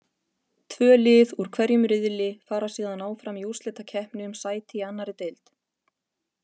Tvö lið úr hverju riðli fara síðan áfram í úrslitakeppni um sæti í annarri deild.